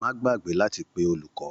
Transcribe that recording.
Má gbàgbé láti pe olùkọ!